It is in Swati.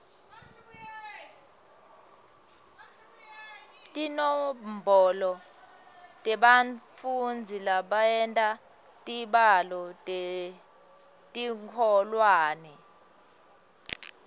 tinombolo tebafundzi labenta tibalo etikolweni